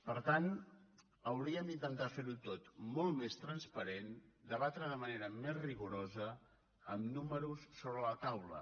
per tant hauríem d’intentar fer ho tot molt més transparent debatre de manera més rigorosa amb números sobre la taula